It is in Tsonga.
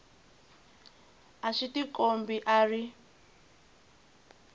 a swi tikombi a ri